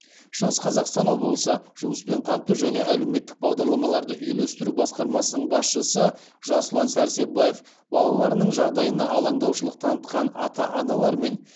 шығыс қазақстан облысы жұмыспен қамту және әлеуметтік бағдарламаларды үйлестіру басқармасының басшысы жасұлан сәрсебаев балаларының жағдайына алаңдаушылық танытқан ата аналармен